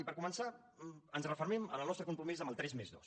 i per començar ens refermem en el nostre compromís amb el tres+dos